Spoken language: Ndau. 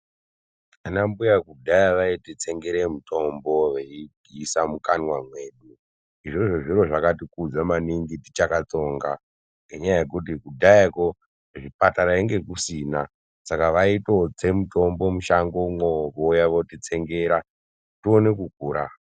Ana mbuya kudhaya vaiti tsengere mitombo veiisa mukanwa medu, izvozvo zviro zvakati kudza maningi tichakatsonga ngenyaa yekuti kudhaya koo zvipatara hunge kusina saka vaitotse mitombo kushango mwoo vouya votitsengera tione kukura.